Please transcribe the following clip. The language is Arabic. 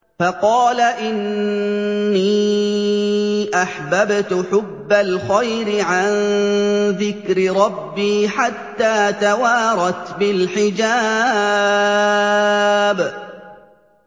فَقَالَ إِنِّي أَحْبَبْتُ حُبَّ الْخَيْرِ عَن ذِكْرِ رَبِّي حَتَّىٰ تَوَارَتْ بِالْحِجَابِ